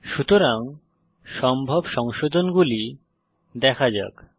সুতরাং সম্ভব সংশোধনগুলি দেখা যাক